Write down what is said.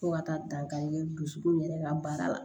Fo ka taa dankari kɛ dusukun yɛrɛ ka baara la